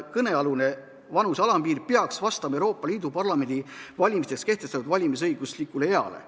Kõnealune vanuse alampiir peaks vastama Euroopa Parlamendi valimisteks kehtestatud valmisõiguslikule eale.